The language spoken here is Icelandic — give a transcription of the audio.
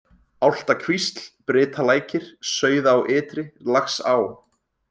Álftakvísl, Brytalækir, Sauðá ytri, Lagsá